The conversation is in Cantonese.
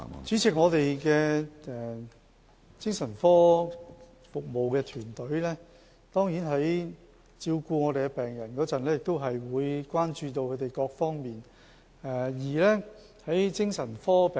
主席，我們的精神科服務團隊在照顧病人的時候，當然會關注他們各方面的需要。